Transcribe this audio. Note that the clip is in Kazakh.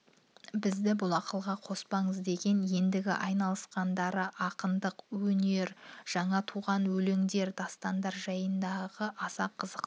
бізді бұл ақылға қоспаңыз деген ендігі айналысқандары ақындық өнер жаңа туған өлендер дастандар жайындағы аса қызықты